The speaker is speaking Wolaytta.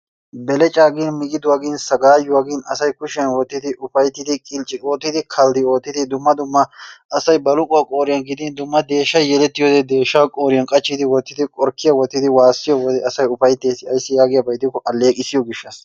Belecca gin, miggiduwaa gin, saggayuwa gin asay kushiyaan wottiyaageeti ufayttidi qincci oottidi kalddi oottidi dumma dumma asay baluquwa qooriyaan gidin dumma deeshshay yelettiyoodde deeshsha qooriyan qachchidi wottidi qorkkiyaa wottidi wassiyo wode asay ufayttees ayssi giyaaba gishshaa gidikko alleeqissiyo gishshassa.